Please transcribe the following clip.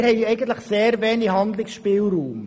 Wir haben eigentlich sehr wenig Handlungsspielraum.